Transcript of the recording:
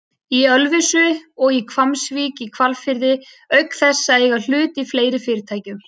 í Ölfusi og í Hvammsvík í Hvalfirði auk þess að eiga hlut í fleiri fyrirtækjum.